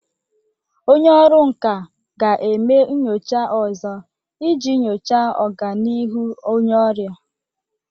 Onye ọrụ nka ga-eme nyocha ọzọ iji nyochaa ọganihu onye ọrịa.